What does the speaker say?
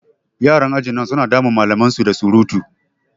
Yaran ajin nan su na damun malaman su da surutu.